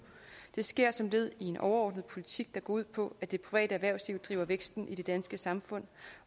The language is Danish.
det sker som led i en overordnet politik der går ud på at det private erhvervsliv driver væksten i det danske samfund